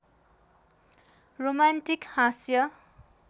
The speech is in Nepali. रोमान्टिक हाँस्य